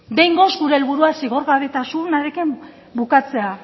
behingoz gure helburua zigorgarritasunarekin bukatzea